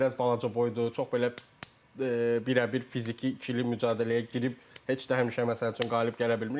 Biraz balaca boydur, çox belə birəbir fiziki ikili mübarizəyə girib heç də həmişə məsəl üçün qalib gələ bilmir.